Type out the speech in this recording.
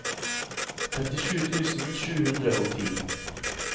trettisju tusen sju hundre og ti